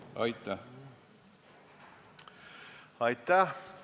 Aitäh!